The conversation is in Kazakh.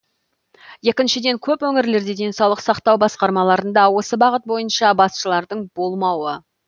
екіншіден көп өңірлерде денсаулық сақтау басқармаларында осы бағыт бойынша басшылардың болмауы